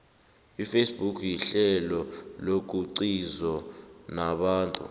ifacebook yihlelo lokuxizo nabantu